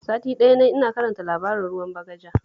Sati ɗaya na yi ina karanta labarin Ruwan Bagaja